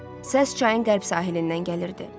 Səs çayın qərb sahilindən gəlirdi.